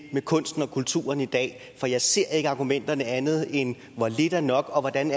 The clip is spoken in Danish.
med kunsten og kulturen i dag for jeg ser ikke argumenterne som andet end at lidt er nok og hvordan